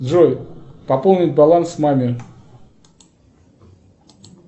джой пополнить баланс маме